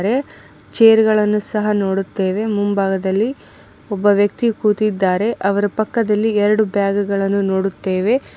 ಚೇರ್ಗಳನ್ನು ಸಹ ನೋಡುತ್ತೇವೆ ಮುಂಭಾಗದಲ್ಲಿ ಒಬ್ಬ ವ್ಯಕ್ತಿ ಕೂತಿದ್ದಾರೆ ಅವರ ಪಕ್ಕದಲ್ಲಿ ಎರಡು ಬ್ಯಾಗ್ ಗಳನ್ನು ನೋಡುತ್ತೇವೆ.